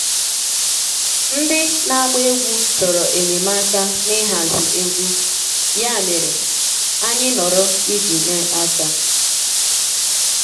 Ndị na-agba egwú chọrọ enyemaka n'ịhazi egwu, ya mere, anyị nọrọ iji nye aka.